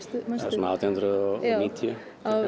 svona átján hundruð og níutíu